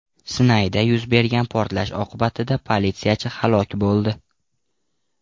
Sinayda yuz bergan portlash oqibatida politsiyachi halok bo‘ldi.